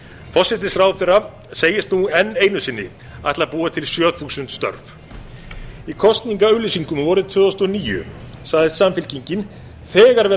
forsætisráðherra segist nú enn einu sinni ætla að búa til sjö þúsund störf í kosningaauglýsingum vorið tvö þúsund og níu sagðist samfylkingin þegar vera búin